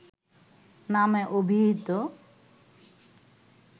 নামে অভিহিত